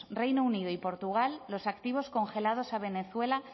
reino unido y portugal los activos congelados a venezuela